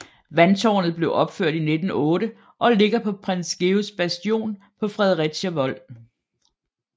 Vandtårnet blev opført i 1908 og ligger på Prins Georgs Bastion på Fredericia Vold